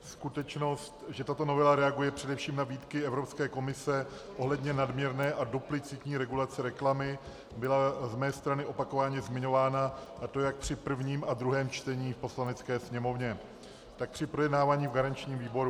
Skutečnost, že tato novela reaguje především na výtky Evropské komise ohledně nadměrné a duplicitní regulace reklamy, byla z mé strany opakovaně zmiňována, a to jak při prvním a druhém čtení v Poslanecké sněmovně, tak při projednávání v garančním výboru.